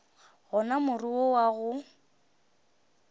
gona more wo wa go